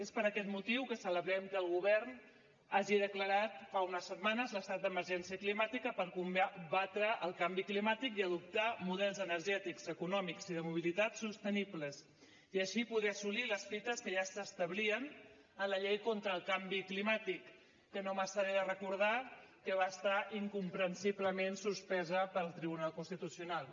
és per aquest motiu que celebrem que el govern hagi declarat fa unes setmanes l’estat d’emergència climàtica per combatre el canvi climàtic i adoptar models energètics econòmics i de mobilitat sostenibles i així poder assolir les fites que ja s’establien a la llei contra el canvi climàtic que no m’estaré de recordar que va ser incomprensiblement suspesa pel tribunal constitucional